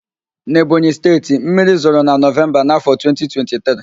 Na Ebonyị Steeti, mmiri zoro na Nọvemba na afọ 2023